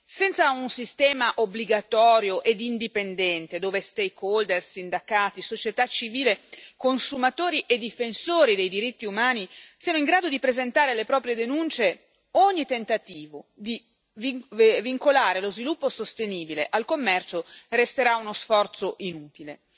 Senza un sistema obbligatorio e indipendente, dove stakeholder sindacati, società civile, consumatori e difensori dei diritti umani siano in grado di presentare le proprie denunce, ogni tentativo di vincolare lo sviluppo sostenibile al commercio resterà uno sforzo inutile.